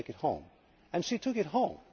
I want to take it homeʼ, and she took it home.